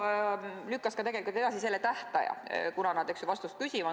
GRECO lükkas tegelikult edasi selle tähtaja, kunas nad vastust küsivad.